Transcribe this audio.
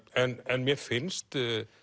en mér finnst